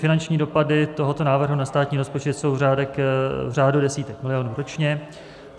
Finanční dopady tohoto návrhu na státní rozpočet jsou v řádu desítek milionů ročně.